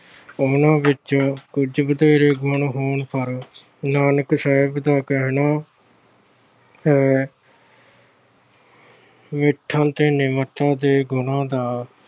ਉਹਨਾਂ ਵਿੱਚ ਕੁਝ ਵਧੇਰੇ ਗੁਣ ਹੋਣ ਪਰ ਨਾਨਕ ਸਾਹਿਬ ਦਾ ਕਹਿਣਾ ਹੈ ਦੇ ਗੁਣਾ ਦਾ